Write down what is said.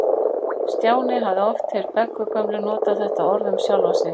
Stjáni hafði oft heyrt Beggu gömlu nota þetta orð um sjálfa sig.